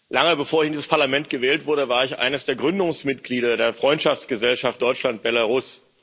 Lange bevor ich in dieses Parlament gewählt wurde, war ich eines der Gründungsmitglieder der Freundschaftsgesellschaft Deutschland Belarus.